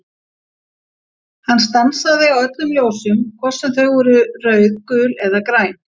Hann stansaði á öllum ljósum, hvort sem þau voru rauð, gul eða græn.